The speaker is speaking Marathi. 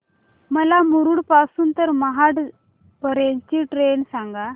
मला मुरुड पासून तर महाड पर्यंत ची ट्रेन सांगा